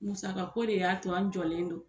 Musakako de y'a to an jɔlen don